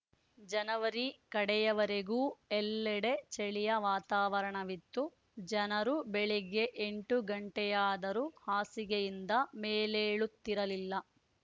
ಜನವರಿ ಕಡೆಯವರೆಗೂ ಎಲ್ಲೆಡೆ ಚಳಿಯ ವಾತಾವರಣವಿತ್ತು ಜನರು ಬೆಳಿಗ್ಗೆ ಎಂಟು ಗಂಟೆಯಾದರೂ ಹಾಸಿಗೆಯಿಂದ ಮೇಲೇಳುತ್ತಿರಲಿಲ್ಲ